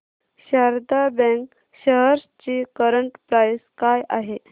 Sharda bank shares ची current price काय आहे